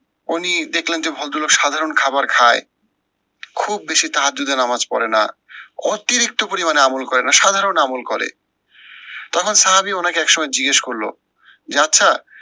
উনি দেখলেন যে ভদ্রলোক সাধারণ খাওয়ার খায়, খুব বেশি নামাজ পরে না, অতিরিক্ত পরিমানে আমূল করে না সাধারন আমূল করে। তখন সাহাবী উনাকে একসময় জিজ্ঞেস করলো, যে আচ্ছা